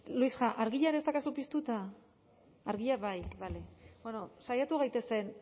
luisja argia ere ez daukazu piztuta argia bai bueno saiatu gaitezen